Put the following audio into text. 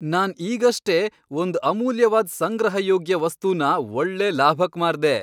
ನಾನ್ ಈಗಷ್ಟೇ ಒಂದ್ ಅಮೂಲ್ಯವಾದ್ ಸಂಗ್ರಹಯೋಗ್ಯ ವಸ್ತುನ ಒಳ್ಳೆ ಲಾಭಕ್ ಮಾರ್ದೆ.